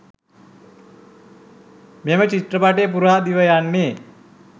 මෙම චිත්‍රපටය පුරා දිවයන්නේ.